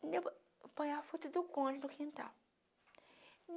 põem a foto do cônjuge no quintal.